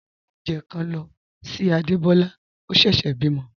Mo n mú ọ̀unjẹ̣́ kan ló sí Ádébólá, ọ̀ sẹ́sè bímo.